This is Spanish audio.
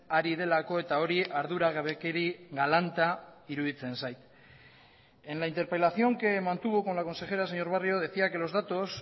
ari delako eta hori arduragabekeri galanta iruditzen zait en la interpelación que mantuvo con la consejera señor barrio decía que los datos